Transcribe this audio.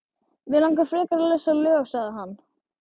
Mig langar frekar að lesa lög, sagði hann.